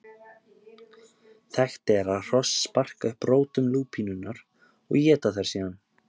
Þekkt er að hross sparka upp rótum lúpínunnar og éta þær síðan.